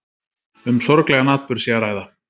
Um sorglegan atburð sé að ræða